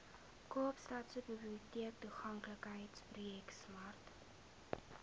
kaapstadse biblioteektoeganklikheidsprojek smart